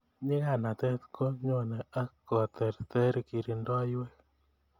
Nyikanatet ko nyone ak kotertererkirindoiywek